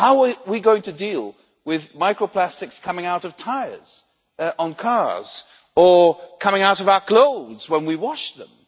How are we going to deal with micro plastics coming out of tyres on cars or coming out of our clothes when we wash them?